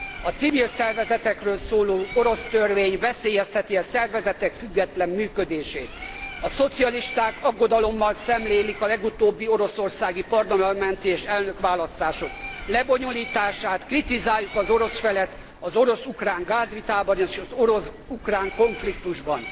A civil szervezetekről szóló orosz törvény veszélyezteti e szervezetek független működését. A szocialisták aggodalommal szemlélik a legutóbbi oroszországi parlamenti és elnökválasztások lebonyolítását. Kritikát fogalmazunk meg az orosz féllel szemben az orosz ukrán gázvitában, és az orosz ukrán konfliktusban.